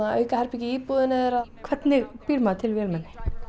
aukaherbergi í íbúðinni þeirra hvernig býr maður til vélmenni